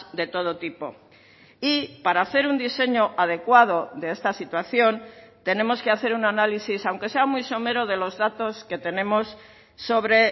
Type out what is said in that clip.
de todo tipo y para hacer un diseño adecuado de esta situación tenemos que hacer un análisis aunque sea muy somero de los datos que tenemos sobre